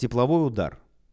тепловой удар